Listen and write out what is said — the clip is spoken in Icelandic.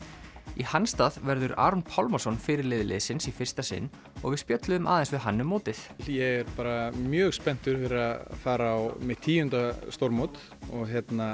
í hans stað verður Aron Pálmarsson fyrirliði liðsins í fyrsta sinn og við spjölluðum aðeins við hann um mótið ég er bara mjög spenntur fyrir að fara á mitt tíunda stórmót og